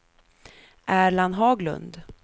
Erland Haglund